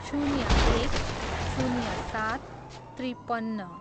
शून्य एक, शून्य सात, त्रिपन्न